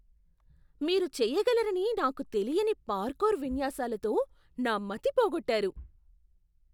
మీరు చేయగలరని నాకు తెలియని పార్కూర్ విన్యాసాలతో నా మతి పోగొట్టారు.